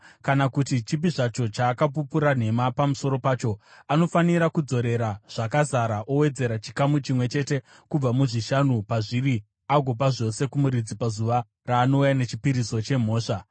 kana kuti chipi zvacho chaakapupura nhema pamusoro pacho. Anofanira kudzorera zvakazara owedzera chikamu chimwe chete kubva muzvishanu pazviri agopa zvose kumuridzi pazuva raanouya nechipiriso chemhosva.